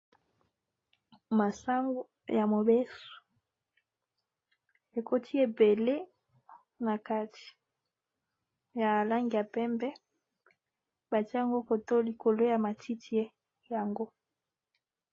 Masango ya mobeso ekoti ebele na kati ya lange ya pembe, batiango ko to likolo ya matiti yango.